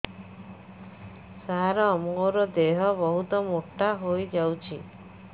ସାର ମୋର ଦେହ ବହୁତ ମୋଟା ହୋଇଯାଉଛି